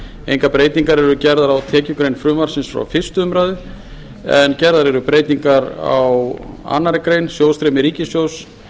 engar breytingar eru gerðar á tekjugrein frumvarpsins frá fyrstu umræðu en gerðar eru breytingar á annarri grein sjóðstreymi ríkissjóðs